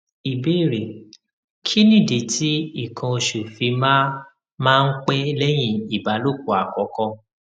ìbéèrè kí nìdí tí nǹkan osṣ fi máa máa ń pẹ lẹyìn ìbálòpọ àkọkọ